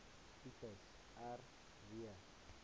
tipes r w